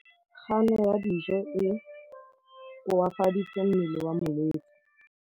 Kganô ya go ja dijo e koafaditse mmele wa molwetse.